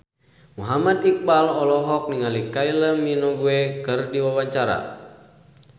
Muhammad Iqbal olohok ningali Kylie Minogue keur diwawancara